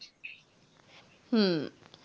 হম